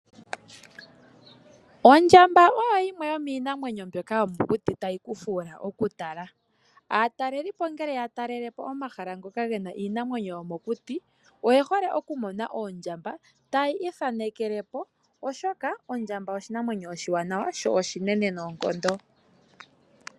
Ondjamba oyo yimwe yomiinamwenyo mbyoka yomokuti tayi ku fuula oku tala. Aatalelipo ohaya talele po omahala ngoka ge na iinamwenyo yomokuti. Oye hole oku mona oondjamba tayi ithaanekele po oshoka ondjamba oshinamwenyo oshiwanawa, sho oshinene noonkondo.